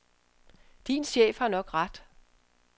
Din chef har nok ret.